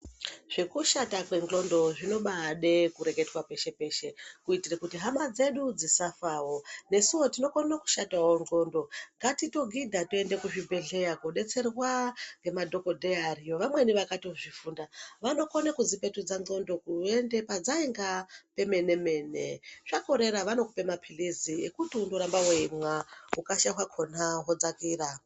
Zvekushata kwexondo zvinobaida kureketwa peshe-peshe. Kuitira kuti hamadzedu dzisafawo. Nesuwo tinokona kushatawo xlondo ngatitogidha tiende kuchibhehleya kudetserwa ngemadokodheya anenge ariyo vamwemi vakatozvifunda vanokona kudzipetudza xondo kuenda padzainga pemene mene zvakorera vanokupa mapills ekuti ndorambe weimwa ukasha hwakona hwodzakira.